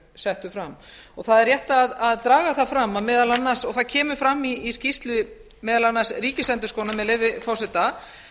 settur fram og það er rétt að draga það fram og það kemur fram í skýrslu meðal annars ríkisendurskoðunar með leyfi forseta